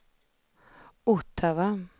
Ottawa